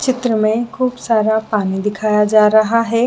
चित्र में खूब सारा पानी दिखाया जा रहा हैं।